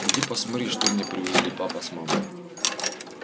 иди посмотри что мне привезли папа с мамой